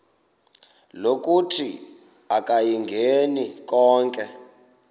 lokuthi akayingeni konke